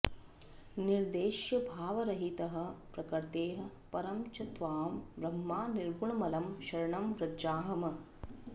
निर्देश्यभावरहितः प्रकृतेः परं च त्वां ब्रह्म निर्गुणमलं शरणं व्रजामः